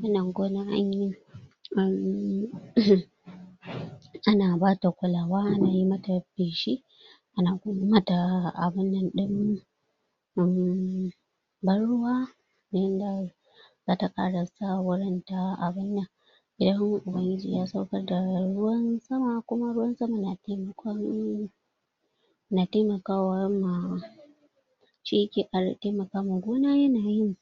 wannan gonan anyi ana bata kulawa ana mata feshi ana kuma mata abunnan ɗin ban ruwa yanda zata ƙara sa wurin ta abunnan idan ubangiji ya saukar da ruwan sama kuma ruwan sama na taimakon na taimakawa ma shi yake ƙara taimaka ma gona yana yin.